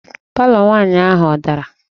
Palọ nwaanyị ahụ ọ dara?